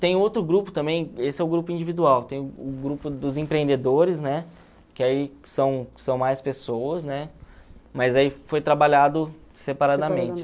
Tem outro grupo também, esse é o grupo individual, tem o grupo dos empreendedores, né, que aí são são mais pessoas, né, mas aí foi trabalhado separadamente.